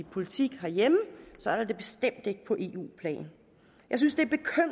politik herhjemme det bestemt ikke på eu plan jeg synes det